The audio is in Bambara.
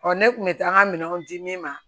ne kun bɛ taa n ka minɛnw di min ma